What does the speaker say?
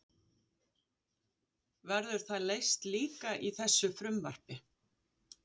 Verður það leyst líka í þessu frumvarpi?